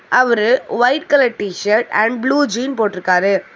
அவரு white colour T shirt and blue jean போட்டுருக்காரு.